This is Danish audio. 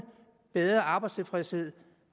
bedre arbejdstilfredshed